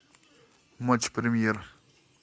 матч премьер